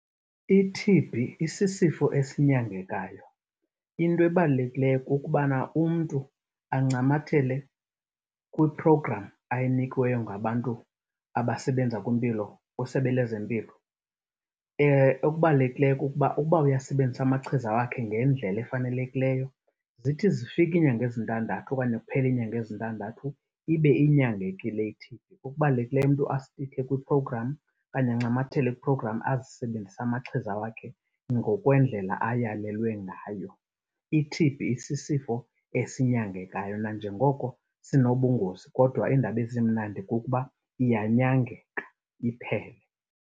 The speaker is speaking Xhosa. I-T_B isisifo esinyangekayo. Into ebalulekileyo kukubana umntu ancamathele kwi-programme ayinikiweyo ngabantu abasebenza kwimpilo kwisebe lezempilo. Okubalulekileyo kukuba uba uyawasebenzisa amachiza wakhe ngendlela efanelekileyo, zithi zifika iinyanga ezintandathu okanye kuphela iinyanga ezintandathu ibe inyangekile i-T_B. Okubalulekileyo umntu asitikhe kwi-programme okanye ancamathele kwi-programme azisebenzise amachiza wakhe ngokwendlela ayalelwe ngayo. I-T_B isisifo esinyangekayo nanjengoko sinobungozi, kodwa indaba ezimnandi kukuba iyanyangeka iphele.